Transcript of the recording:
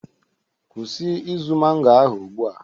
Kwụsị izu mango ahụ ugbu a